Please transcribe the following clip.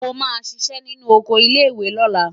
Mo máa ṣiṣẹ́ nínú oko ilé-ìwé lọ́la.